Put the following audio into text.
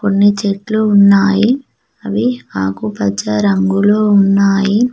కొన్ని చెట్లు ఉన్నాయి అవి ఆకుపచ్చ రంగులో ఉన్నాయి.